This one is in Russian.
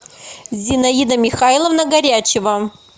зинаида михайловна горячева